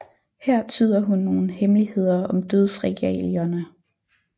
Her tyder hun nogle hemmeligheder om Dødsregalierne